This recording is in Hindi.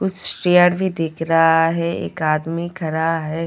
कुछ चेयर भी दिख रहा है एक आदमी खडा है।